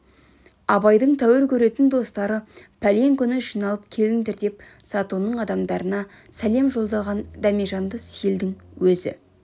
абайдың тәуір көретін достары пәлен күні жиналып келіңдер деп затонның адамдарына сәлем жолдаған дәмежанды сейілдің өзі